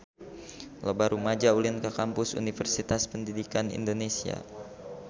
Loba rumaja ulin ka Kampus Universitas Pendidikan Indonesia